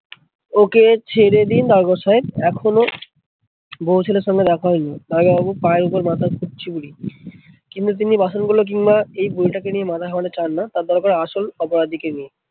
ওকে ছেড়ে দিন দারোগা সাহেব এখনো বৌ ছেলের সঙ্গে দেখা হয়নি, দারোগা বাবুর পায়ের উপর মাথা ঠুকছে বুড়ি। কিন্তু তিনি বাসনগুলো কিংবা এই বুড়িটাকে নিয়ে মাথা ঘামাতে চান না তার দরকার আসল অপরাধীকে নিয়ে।